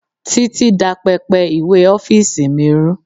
Títí dá pẹpẹ ìwé ọ́fíìsì mi rú.